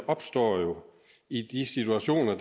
opstår i de situationer